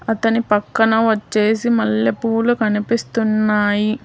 అతని పక్కన వచ్చేసి మల్లెపూలు కనిపిస్తున్నాయి